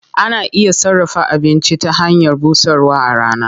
Ana iya sarrafa abinci ta hanyar busarwa a rana.